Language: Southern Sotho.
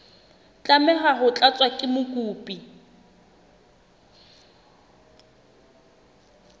tlameha ho tlatswa ke mokopi